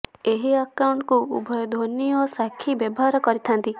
ଏହି ଆକାଉଣ୍ଟକୁ ଉଭୟ ଧୋନି ଓ ସାକ୍ଷୀ ବ୍ୟବହାର କରିଥାନ୍ତି